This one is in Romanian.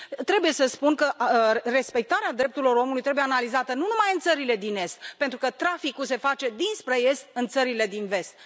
Trebuie să spun că respectarea drepturilor omului trebuie analizată nu numai în țările din est, pentru că traficul se face dinspre est în țările din vest.